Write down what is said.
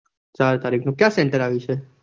ચાર તારીખ નું ક્યાં center આવ્યું છે?